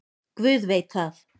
Guð veit það.